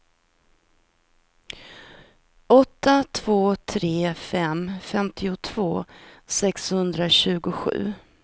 åtta två tre fem femtiotvå sexhundratjugosju